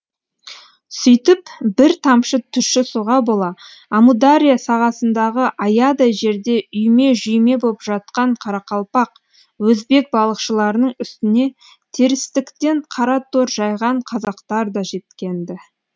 сүйтіп бір тамшы тұщы суға бола амудария сағасындағы аядай жерде үйме жүйме боп жатқан қарақалпақ өзбек балықшыларының үстіне терістіктен қара тор жайған қазақтар да жеткен ді